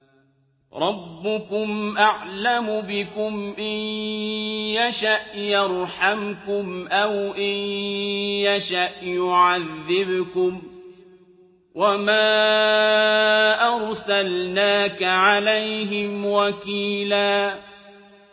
رَّبُّكُمْ أَعْلَمُ بِكُمْ ۖ إِن يَشَأْ يَرْحَمْكُمْ أَوْ إِن يَشَأْ يُعَذِّبْكُمْ ۚ وَمَا أَرْسَلْنَاكَ عَلَيْهِمْ وَكِيلًا